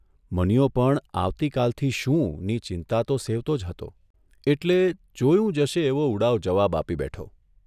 મનીયો પણ આવતીકાલથી શુંની ચિંતા તો સેવતો જ હતો એટલે ' જોયું જશે 'એવો ઉડાવ જવાબ આપી બેઠો.